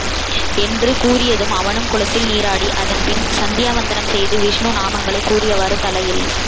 என்று கூறியதும் அவனும் குளத்தில் நீராடி அதன்பின் சந்தியாவந்தனம் செய்து விஸ்ணு நாமங்களை கூறியவாறு தலையில்